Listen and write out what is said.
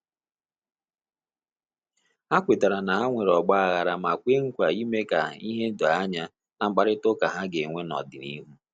Ha kwetara na enwere ọgbaaghara ma kwe nkwa ime ka ihe doo anya na mkparịta uka ha ga-enwe na ọdịnihu